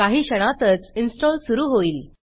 काही क्षणातच इन्स्टॉल सुरू होईल